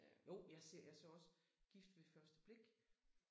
Jo jeg ser jeg så også gift ved første blik